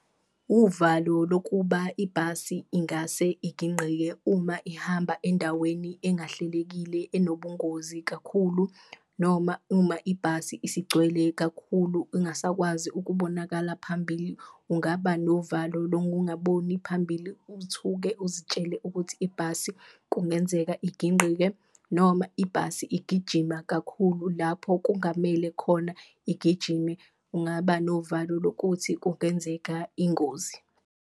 Uvalo lokuba ibhasi ingase igingqike uma ihamba endaweni engahlelekile enobungozi kakhulu noma uma ibhasi isigcwele kakhulu ingasakwazi ukubonakala phambili, ungaba novalo lokungaboni phambili. Uthuke uzitshele ukuthi ibhasi kungenzeka igingqike noma ibhasi igijima kakhulu lapho kungamele khona igijime, ungaba novalo lokuthi kungenzeka ingozi.